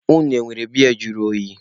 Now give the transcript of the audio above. Unu enwere biya juru oyi?